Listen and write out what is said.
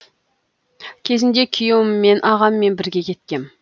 кезінде күйеуіммен ағаммен бірге кеткем